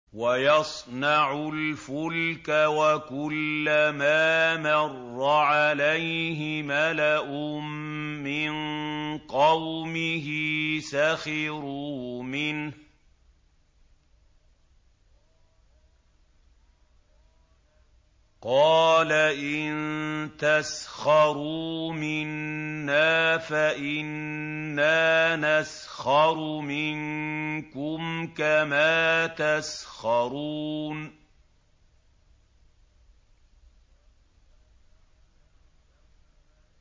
وَيَصْنَعُ الْفُلْكَ وَكُلَّمَا مَرَّ عَلَيْهِ مَلَأٌ مِّن قَوْمِهِ سَخِرُوا مِنْهُ ۚ قَالَ إِن تَسْخَرُوا مِنَّا فَإِنَّا نَسْخَرُ مِنكُمْ كَمَا تَسْخَرُونَ